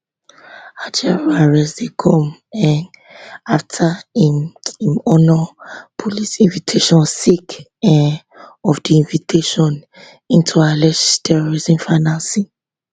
ajaero arrest dey come um afta im im honour police invitation sake um of di investigation into alleged terrorism financing